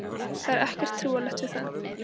Það er ekkert trúarlegt við það.